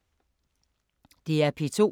DR P2